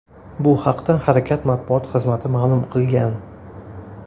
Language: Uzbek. Bu haqda harakat matbuot xizmati ma’lum qilgan .